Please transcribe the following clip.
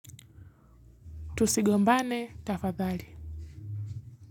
Tusigombane tafadhali.